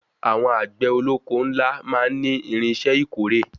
Àwọn àgbẹ̀ olóko ńlá máa ní irinṣẹ́ ìkórè.